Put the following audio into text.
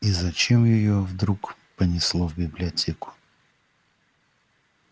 и зачем её вдруг понесло в библиотеку